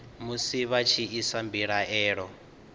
musi vha tshi isa mbilaelo